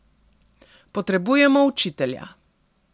Potrebujemo učitelja.